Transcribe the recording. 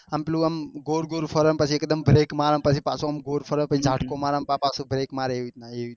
આમ પેલું આમ ગોળ ગોળ ફરે પછી એકદમ પેલું એક મારે પછી પાછું ગોળ ફરે પછી જહ્કો મારો પાછો બ્રેક મારે એવી રીતના